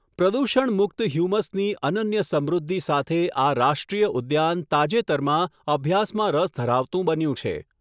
પ્રદુષણ મુક્ત 'હ્યુમસ' ની અનન્ય સમૃદ્ધિ સાથે આ રાષ્ટ્રીય ઉદ્યાન તાજેતરમાં અભ્યાસમાં રસ ધરાવતું બન્યું છે.